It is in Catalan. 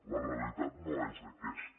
la realitat no és aquesta